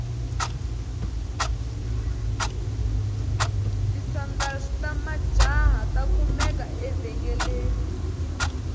tisandals tamajahha takumeka evengeleni